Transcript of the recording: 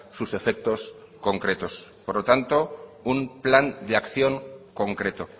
sus efectos concretos por lo tanto un plan de acción concreto